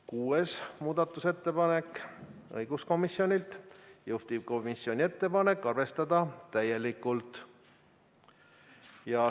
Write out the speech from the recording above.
Kuues muudatusettepanek on õiguskomisjonilt, juhtivkomisjoni ettepanek: arvestada täielikult.